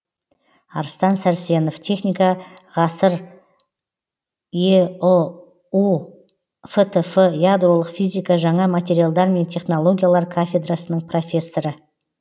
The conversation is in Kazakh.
арыстан сарсенов техника ғасыр еұу фтф ядролық физика жаңа материалдар мен технологиялар кафедрасының профессоры